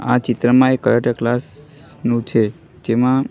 આ ચિત્રમાં એક કરાટે ક્લાસ નુ છે જેમાં--